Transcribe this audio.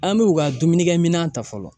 An b'u ka dumunikɛminɛ ta fɔlɔ